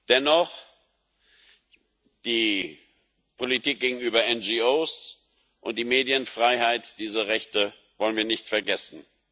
Dennoch Die Politik gegenüber NGOs und die Medienfreiheit diese Rechte wollen wir nicht vergessen.